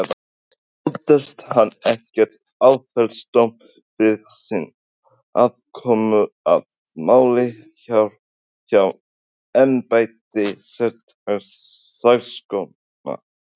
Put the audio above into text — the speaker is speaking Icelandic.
En óttast hann ekkert áfellisdóm yfir sinni aðkomu að málinu hjá embætti sérstaks saksóknara?